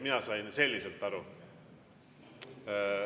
Mina sain selliselt aru.